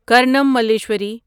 کارنام ملیشوری